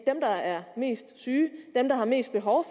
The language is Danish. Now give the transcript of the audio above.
er mest syge dem der har mest behov